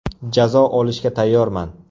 Jazo olishga tayyorman.